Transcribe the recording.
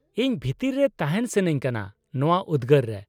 -ᱤᱧ ᱵᱷᱤᱛᱤᱨ ᱨᱮ ᱛᱟᱦᱮᱱ ᱥᱟᱹᱱᱟᱹᱧ ᱠᱟᱱᱟ ᱱᱚᱶᱟ ᱩᱫᱜᱟᱹᱨ ᱨᱮ ᱾